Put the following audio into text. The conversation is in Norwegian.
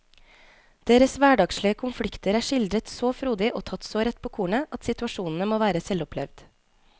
Deres hverdagslige konflikter er skildret så frodig og tatt så rett på kornet at situasjonene må være selvopplevd.